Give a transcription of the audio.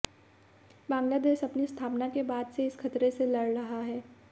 बांग्लादेश अपनी स्थापना के बाद से इस खतरे से लड़ रहा है